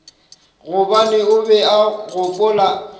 gobane o be a gopola